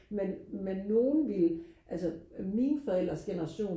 men men nogle ville altså mine forældres generation